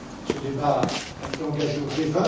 Ce débat a été engagé au